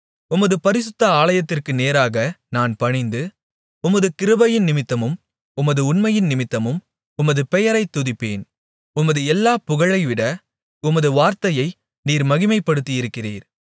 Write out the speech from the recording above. உமது பரிசுத்த ஆலயத்திற்கு நேராக நான் பணிந்து உமது கிருபையினிமித்தமும் உமது உண்மையினிமித்தமும் உமது பெயரைத் துதிப்பேன் உமது எல்லாப் புகழைவிட உமது வார்த்தையை நீர் மகிமைப்படுத்தியிருக்கிறீர்